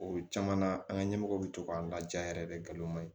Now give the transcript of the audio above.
O caman na an ka ɲɛmɔgɔw bɛ to k'an laja yɛrɛ de nkalon man ɲi